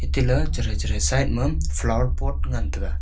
tila chathei chathei side ma flower pot ngantaga.